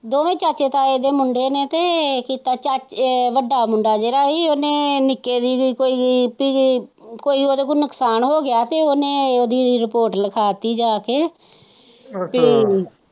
ਦੋਵੇ ਚਾਚਾ ਤਾਏ ਦੇ ਮੁੰਡੇ ਨੇ ਤਾ ਵੱਡਾ ਮੁੰਡਾ ਜਿਹੜਾ ਸੀ ਉਹਨੇ ਨਿੱਕੇ ਦੀ ਵੀ ਕੋਈ ਉਹਦੇ ਕੋਲ ਨੁਕਸਾਨ ਹੋ ਗਿਆ ਤੇ ਉਹਨੇ ਉਹਦੀ ਰਿਪੋਰਟ ਲਿਖਾ ਦਿੱਤੀ ਜਾ ਕੇ ਤੇ।